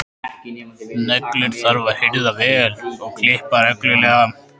Neglur þarf að hirða vel og klippa reglulega.